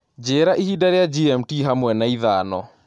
njira ihinda ria g.m.t hamwe na ithano